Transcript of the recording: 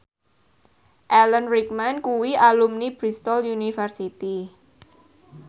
Alan Rickman kuwi alumni Bristol university